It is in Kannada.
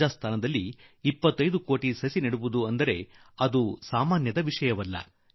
ರಾಜಸ್ತಾನದಲ್ಲಿ 25 ಲಕ್ಷ ಕಡಿಮೆ ಸಂಗತಿ0iÉುೀನಲ್ಲ